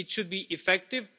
It should be effective.